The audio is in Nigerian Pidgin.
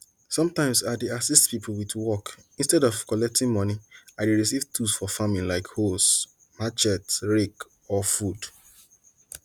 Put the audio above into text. sometimes ah dey assist people with work instead of collecting money i receive tools for farming like hoes machetes rakes or food